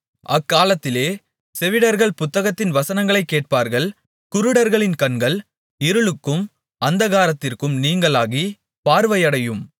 அக்காலத்திலே செவிடர்கள் புத்தகத்தின் வசனங்களைக் கேட்பார்கள் குருடர்களின் கண்கள் இருளுக்கும் அந்தகாரத்திற்கும் நீங்கலாகிப் பார்வையடையும்